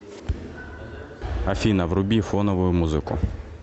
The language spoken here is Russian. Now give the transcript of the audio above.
афина вруби фоновую музыку